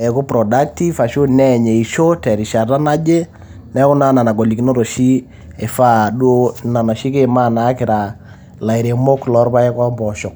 eaku productive, neany eisho terishata naje. Neaku naa nena golikinot oshi eifaa duo nikiima naa kira ilairemok loo ilpaek o mpooshok.